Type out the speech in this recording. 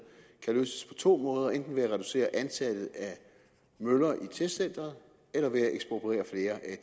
kan løses på to måder nemlig enten ved at reducere antallet af møller i testcenteret eller ved